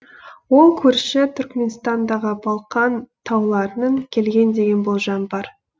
ол көрші түркіменстандағы балқан тауларынан келген деген болжам бар